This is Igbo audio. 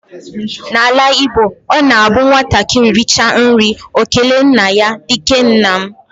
Na ala Igbo, ọ na abụ nwatakịrị richa nri ọ kelee nna ya dike nna m.